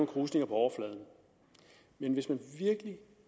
krusninger på overfladen men hvis man virkelig